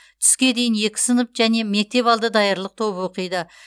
түске дейін екі сынып және мектепалды даярлық тобы оқиды